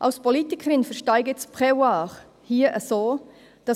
Als Politikerin verstehe ich «prévoir» in diesem Zusammenhang so: